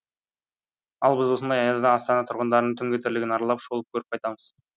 ал біз осындай аязда астана тұрғындарының түнгі тірлігін аралап шолып көріп қайтамыз